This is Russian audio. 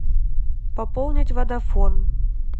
пополнить водафон